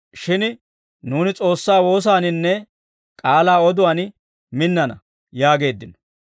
Shin nuuni S'oossaa woosaaninne k'aalaa oduwaan minnana» yaageeddino.